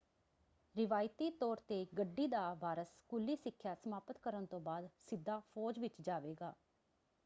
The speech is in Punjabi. ਰਵਾਇਤੀ ਤੌਰ ‘ਤੇ ਗੱਡੀ ਦਾ ਵਾਰਸ ਸਕੂਲੀ ਸਿੱਖਿਆ ਸਮਾਪਤ ਕਰਨ ਤੋਂ ਬਾਅਦ ਸਿੱਧਾ ਫੌਜ ਵਿੱਚ ਜਾਵੇਗਾ।